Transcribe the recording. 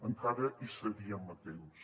encara hi seríem a temps